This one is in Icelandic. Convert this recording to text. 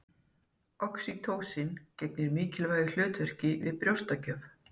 Oxýtósín gegnir mikilvægu hlutverki við brjóstagjöf.